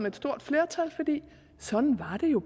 et stort flertal fordi sådan var det jo